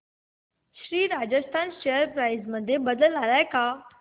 Shri Rajasthan share price मध्ये बदल आलाय का